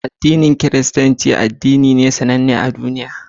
Addinin Kiristanci addini ne sannan ne a dumiya